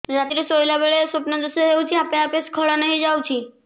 ରାତିରେ ଶୋଇଲା ବେଳେ ସ୍ବପ୍ନ ଦୋଷ ହେଉଛି ଆପେ ଆପେ ସ୍ଖଳନ ହେଇଯାଉଛି